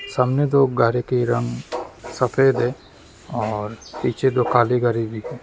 सामने दो गाड़ी के रंग सफेद है और पीछे दो काली गाड़ी दिखे।